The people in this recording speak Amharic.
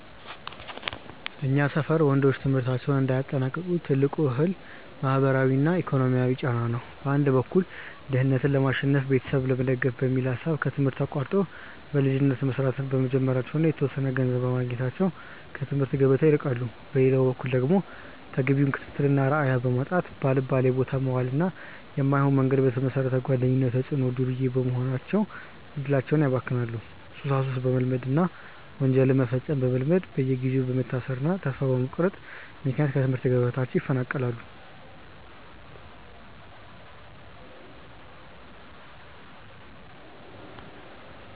በእኛ ሰፈር ወንዶች ትምህርታቸውን እንዳያጠናቅቁ ትልቁ እክል ማህበራዊና ኢኮኖሚያዊ ጫና ነው። በአንድ በኩል ድህነትን ለማሸነፍና ቤተሰብ ለመደገፍ በሚል ሐሳብ ከትምህርት አቋርጠው በልጅነት መስራት በመጀመራቸውና የተወሰነ ገንዘብ በማግኘታቸው ከትምህርት ገበታ ይርቃሉ። በሌላ በኩል ደግሞ ተገቢውን ክትትልና አርአያ በማጣት፣ ባልባሌቦታ በመዋልና በማይሆን መንገድ በተመሰረተ ጓደኝነት ተጽዕኖ ዱርዬ በመሆን እድላቸውን ያባክናሉ፤ ሱሳሱስ በመልመድና ወንጀል መፈጸምን በመልመድ በየጊዜው በመታሰርና ተስፋ በመቁረጥ ምክንያት ከትምህርት ገበታቸው ይፈናቀላሉ።